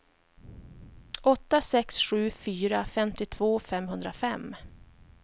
åtta sex sju fyra femtiotvå femhundrafem